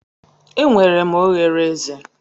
Enwere m oghere eze.